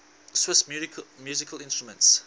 swiss musical instruments